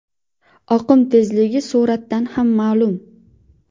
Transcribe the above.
Oqim tezligi suratdan ham ma’lum.